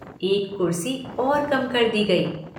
एक कुर्सी और कम कर दी गयी।